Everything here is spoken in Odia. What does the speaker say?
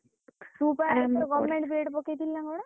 B.Ed ପକେଇଥିଲୁ ନା କଣ?